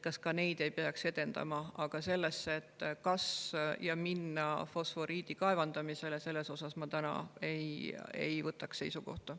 Aga selle kohta, kas minna fosforiiti kaevandama, ma täna seisukohta ei võtaks.